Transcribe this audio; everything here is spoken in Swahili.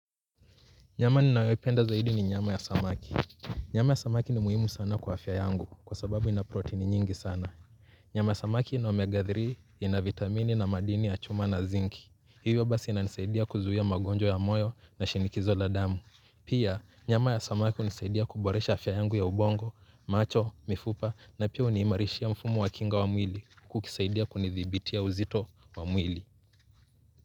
Nyama ninayo ipenda zaidi ni nyama ya samaki. Nyama ya samaki ni muhimu sana kwa afya yangu kwa sababu ina protein nyingi sana. Nyama ya samaki ina omega tatu ina vitamini na madini ya chuma na zinki. Hivyo basi ina nisaidia kuzuia magonjwa ya moyo na shinikizo la damu. Pia nyama ya samaki hunisaidia kuboresha afya yangu ya ubongo, macho, mifupa na pia unimarishia mfumo wa kinga wa mwili kukisaidia kunidhibitia uzito wa mwili.